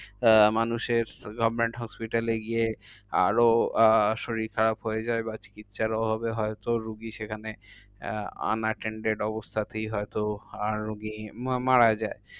আহ মানুষের government hospital এ গিয়ে আরো আহ শরীর খারাপ হয়ে যায়। বা চিকিৎসার অভাবে হয়তো রুগী সেখানে আহ unattained অবস্থাতেই হয়ত আর রুগী মা~ মারা যায়।